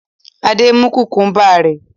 Adé mú kùkúḿbà rẹ̀.